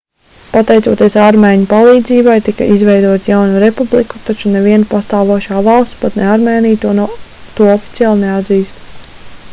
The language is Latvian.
pateicoties armēņu palīdzībai tika izveidota jauna republika taču neviena pastāvošā valsts pat ne armēnija to oficiāli neatzīst